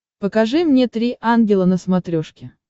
покажи мне три ангела на смотрешке